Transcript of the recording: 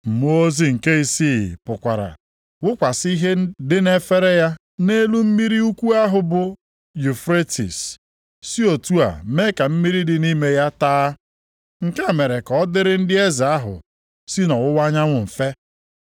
Mmụọ ozi nke isii pụkwara wụkwasị ihe dị nʼefere ya nʼelu mmiri ukwu ahụ bụ Yufretis si otu a mee ka mmiri dị nʼime ya taa. Nke a mere ka ọ dịrị ndị eze ahụ si nʼọwụwa anyanwụ mfe.